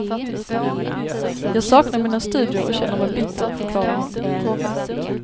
Jag saknar mina studier och känner mig bitter, förklarar hon.